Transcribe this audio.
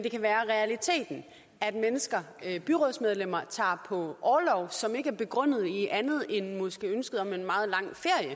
det kan være realiteten at mennesker byrådsmedlemmer tager på orlov som ikke er begrundet i andet end måske ønsket om en meget lang